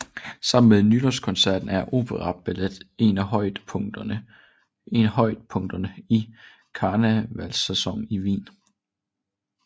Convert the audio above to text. Sammen med Nytårskoncerten er operaballet en af højdepunkterne i karnevalssæsonen i Wien